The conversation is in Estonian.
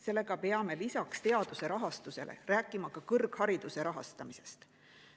Seega peame lisaks teaduse rahastamisele rääkima ka kõrghariduse rahastamisest.